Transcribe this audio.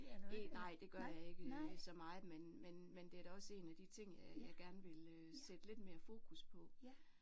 Nej det gør jeg ikke så meget men men men det er da også en af de ting jeg gerne ville sætte lidt mere fokus på